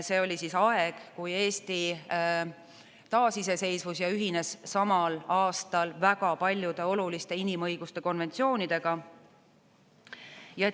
See oli aeg, kui Eesti taasiseseisvus ja ühines samal aastal väga paljude oluliste inimõiguste konventsioonidega.